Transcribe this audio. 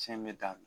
Cɛn bɛ da